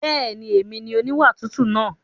Bẹ́ẹ̀ni, èmi ni oníwà tútù náà.